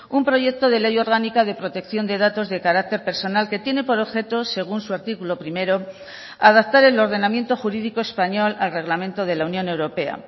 un proyecto de ley orgánica de protección de datos de carácter personal que tiene por objetos según su artículo primero adaptar el ordenamiento jurídico español al reglamento de la unión europea